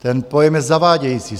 Ten pojem je zavádějící.